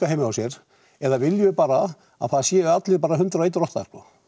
heima hjá sér eða viljum við bara að það séu allir hundrað og ein rotta